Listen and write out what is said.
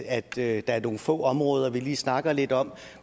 at der er nogle få områder som vi lige snakker lidt om